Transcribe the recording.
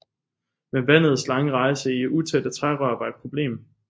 Men vandets lange rejse i utætte trærør var et problem